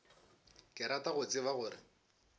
ke rata go tseba gore